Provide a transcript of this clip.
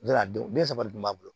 a denw ne saba de tun b'a bolo